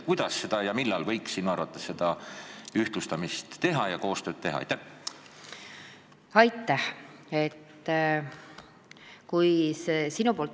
Kuidas ja millal võiks sinu arvates seda ühtlustamist ja koostööd teha?